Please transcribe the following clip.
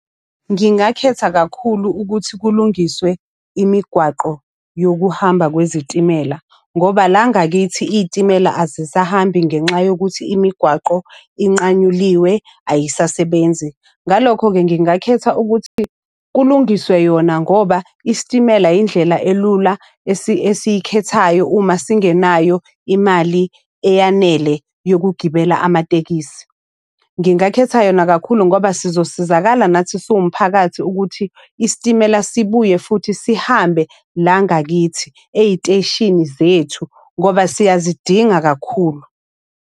Ngingakhetha kakhulu ukuthi kulungiswe imigwaqo yokuhamba kwezitimela, ngoba la ngakithi iy'timela azisahambi ngenxa yokuthi imigwaqo inqanyuliwe ayisasebenzi. Ngalokho-ke ngingakhetha ukuthi kulungiswe yona ngoba isitimela yindlela elula esiyikhethayo uma singenayo imali eyanele yokugibela amatekisi. Ngingakhetha yona kakhulu ngoba sizosizakala nathi siwumphakathi ukuthi isitimela sibuye futhi sihambe la ngakithi ey'teshini zethu, ngoba siyazidinga kakhulu.